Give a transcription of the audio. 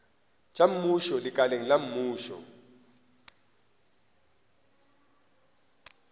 tša mmušo lekaleng la mmušo